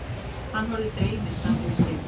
Hann horfir dreyminn framfyrir sig.